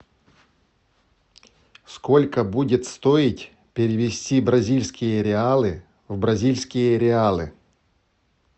сколько будет стоить перевести бразильские реалы в бразильские реалы